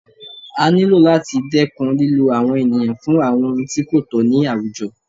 A ní lò láti dẹ́kun lílo àwọn ènìyàn fún àwọn ohun tí kò tọ̀ ní àwùjọ